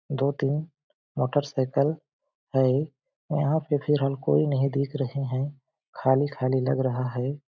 दो तीन मोटरसाइकिल है यहाँ पे फ़िलहाल कोई नही दिख रहे है खाली-खाली लग रहा है।